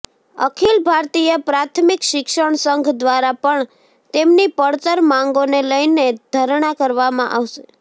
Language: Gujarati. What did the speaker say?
અખિલ ભારતીય પ્રાથમિક શિક્ષક સંઘ દ્વારા પણ તેમની પડતર માંગોને લઈને ધરણા કરવામાં આવશે